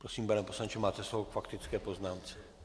Prosím, pane poslanče, máte slovo k faktické poznámce.